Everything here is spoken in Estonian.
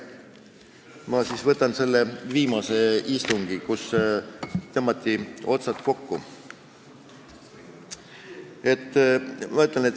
Ma siis võtan ette viimase istungi, kus tõmmati otsad kokku.